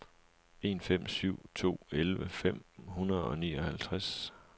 en fem syv to elleve fem hundrede og nioghalvtreds